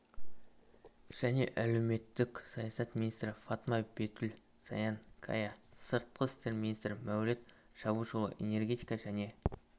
және әлеуметтік саясат министрі фатма бетүл саян кая сыртқы істер министрі мәуліт чавушұлы энергетика және